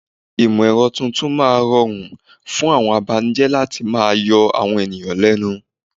Ìmọ̀ ẹ̀rọ tuntun máa mú ún rọrùn fún àwọn abanijẹ́ láti máa yọ àwọn ènìyàn lẹ́nu.